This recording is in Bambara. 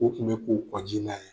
U tun bɛ ko kƆji la ye